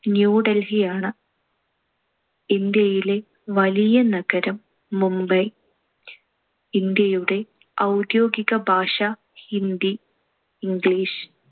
New Delhi ആണ്. ഇന്ത്യയിലെ വലിയ നഗരം മുംബൈ. ഇന്ത്യയുടെ ഔദ്യോഗിക ഭാഷ ഹിന്ദി, ഇംഗ്ലീഷ്.